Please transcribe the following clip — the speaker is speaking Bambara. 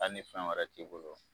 Hali ni fɛn wɛrɛ t'i bolo.